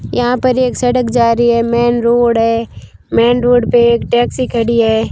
यहां पर एक सड़क जा रही है मेन रोड है मेन रोड पे एक टैक्सी खड़ी है।